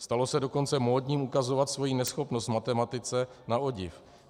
Stalo se dokonce módním ukazovat svoji neschopnost v matematice na odiv.